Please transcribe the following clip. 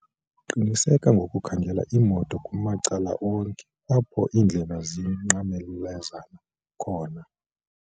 qiniseka ngokukhangela imoto kumacala onke apho iindlela zinqamlezana khona